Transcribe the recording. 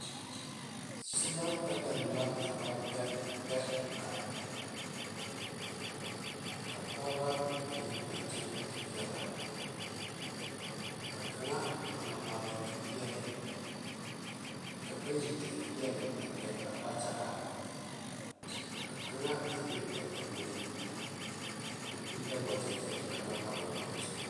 Selaa peɛne la ka ba peɛpeɛ bare ka pɔgeba mine a kyɛ kpɛ te pɛle aa a LA maaleŋ te pɛle ka bayi te feɛ kpɛ a kpɛ kyɛŋe ka kaŋe be a puoriŋ o pɛle la wagyi kyɛ de ka pare o zu.